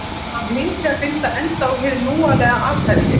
Hann hlyti að binda enda á hið lúalega athæfi sitt.